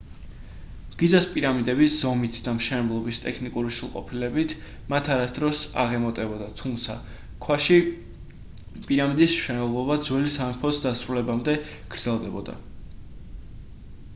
გიზას პირამიდები ზომით და მშენებლობის ტექნიკური სრულყოფილებით მათ არასოდეს აღემატებოდა თუმცა ქვაში პირამიდის მშენებლობა ძველი სამეფოს დასრულებამდე გრძელდებოდა